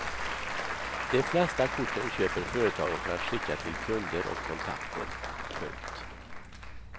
De flesta korten köper företagen för att skicka till kunder och kontakter. punkt